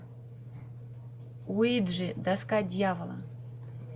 уиджи доска дьявола